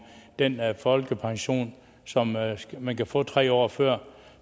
den folkepension som man kan få tre år før